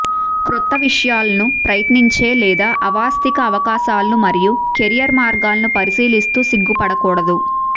క్రొత్త విషయాలను ప్రయత్నించే లేదా అవాస్తవిక అవకాశాలు మరియు కెరీర్ మార్గాలను పరిశీలిస్తూ సిగ్గుపడకూడదు